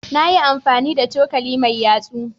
Na yi amfani da cokali mai yatsu.